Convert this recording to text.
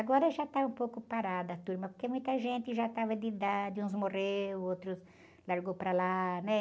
Agora já está um pouco parada a turma, porque muita gente já estava de idade, uns morreu, outros largou para lá, né?